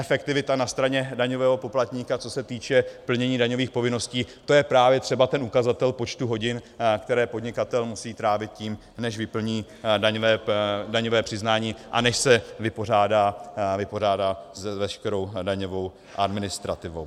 Efektivita na straně daňového poplatníka, co se týče plnění daňových povinností, to je právě třeba ten ukazatel počtu hodin, které podnikatel musí trávit tím, než vyplní daňové přiznání a než se vypořádá s veškerou daňovou administrativou.